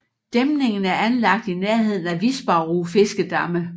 Dæmningen er anlagt i nærheden af Visbarų fiskedamme